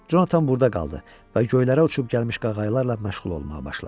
Jonathan burda qaldı və göylərə uçub gəlmiş qağayılarla məşğul olmağa başladı.